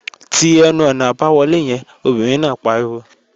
Ti ẹnu-ọ̀nà àbáwọlé yẹn, obìnrin náà pariwo!